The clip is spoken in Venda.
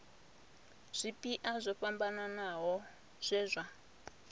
zwipia zwo fhambanaho zwe zwa